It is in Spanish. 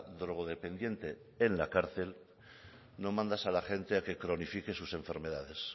drogodependiente en la cárcel no mandas a la gente a que cronifique sus enfermedades